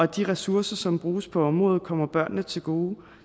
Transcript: de ressourcer som bruges på området kommer børnene til gode